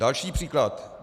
Další příklad.